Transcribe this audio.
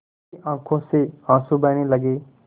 उसकी आँखों से आँसू बहने लगे